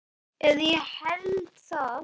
Eða ég held það.